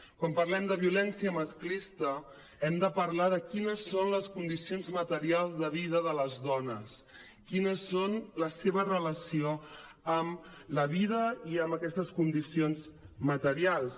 quan parlem de violència masclista hem de parlar de quines són les condicions materials de vida de les dones quines són les seves relacions amb la vida i amb aquestes condicions materials